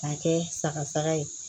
K'a kɛ sagasa ye